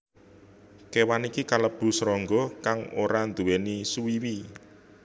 Kéwan iki kalebu srangga kang ora nduwèni suwiwi